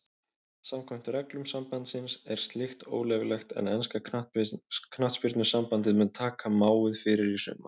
Samkvæmt reglum sambandsins er slíkt óleyfilegt en enska knattspyrnusambandið mun taka máið fyrir í sumar.